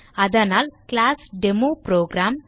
அதனால் class demo program